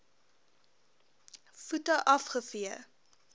voete af gevee